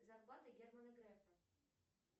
зарплата германа грефа